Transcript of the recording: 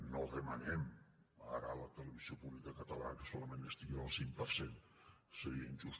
no demanem ara a la televisió pública catalana que solament estigui en el cinc per cent seria injust